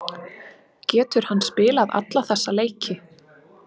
Getur hann spilað alla þessa leiki?